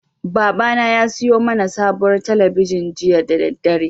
Babana ya siyo mana sabuwar talabijin jiya da daddare.